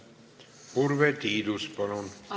Urve Tiidus, palun!